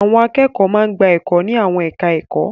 Àwọn akẹ́kọ̀ọ́ máa ń gba ẹ̀kọ́ ní àwọn ẹ̀ka-ẹ̀kọ́.